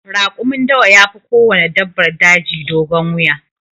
Rakumin dawa yafi kowanne dabbar daji dogon wuya.